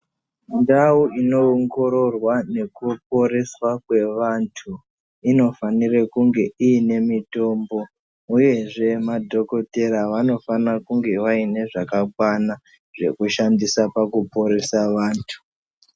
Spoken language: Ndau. Mundau inoongororwa nekuponesa kwevantu inofanira kunge iine mutombo uyezve madhokodheya vanofana kunge vaine zvakakwana zvekushandisa pakuporesa vantu.